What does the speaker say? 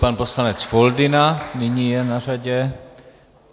Pan poslanec Foldyna nyní je na řadě.